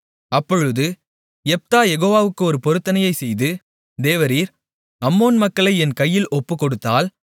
அப்பொழுது யெப்தா யெகோவாவுக்கு ஒரு பொருத்தனையைச் செய்து தேவரீர் அம்மோன் மக்களை என் கையில் ஒப்புக்கொடுத்தால்